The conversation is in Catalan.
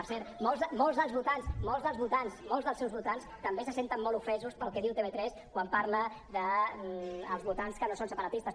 per cert molts dels votants molts dels votants molts dels seus votants també se senten molt ofesos pel que diu tv3 quan parla dels votants que no són separatistes